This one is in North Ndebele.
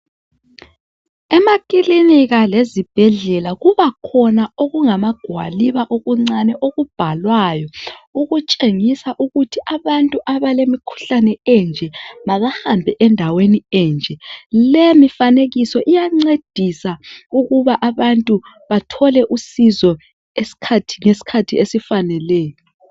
Emakilinika lezibhedlela kubakhoba okungamagwaliba okuncane okubhalwayo okutshengisa ukuthi abantu abalemkhuhlane enje mabahambe endaweni enje le mifanekiso iyancedisa ukuba abantu bathole usizo ngeskhathi esifaneleyo.